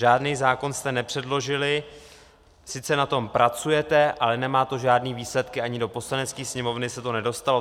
Žádný zákon jste nepředložili, sice na tom pracujete, ale nemá to žádné výsledky, ani do Poslanecké sněmovny se to nedostalo.